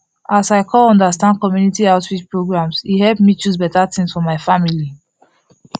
as i come understand community outreach programs e help me choose better things for my family